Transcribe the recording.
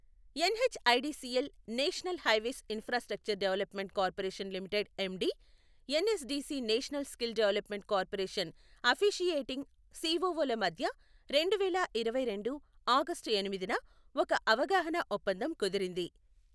NHIDCL national highways infrastructure development corporation limited MD, NSDC national skill development corporation officiating సిఒఒల మధ్య రెండువేల ఇరవై రెండు ఆగష్టు ఎనిమిదిన ఒక అవగాహన ఒప్పందం కుదిరింది.